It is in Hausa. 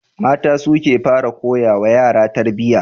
Mata su ke fara koyawa yaro tarbiyya.